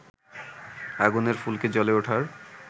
আগুনের ফুলকি জ্বলে ওঠার